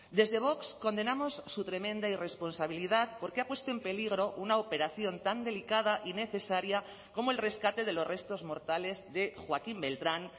desde vox condenamos su tremenda irresponsabilidad porque ha puesto en peligro una operación tan delicada y necesaria como el rescate de los restos mortales de joaquín beltrán